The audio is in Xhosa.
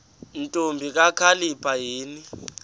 ntombi kakhalipha yini